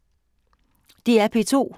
DR P2